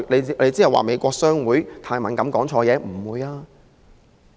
是美國商會太敏感，說錯話了嗎？